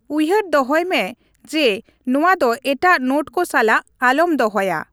ᱩᱭᱦᱟᱹᱨ ᱫᱚᱦᱚᱭ ᱢᱮ ᱡᱮ ᱱᱚᱣᱟ ᱫᱚ ᱮᱴᱟᱜ ᱱᱳᱴ ᱠᱚ ᱥᱟᱞᱟᱜ ᱟᱞᱚᱢ ᱫᱚᱦᱚᱭᱟ ᱾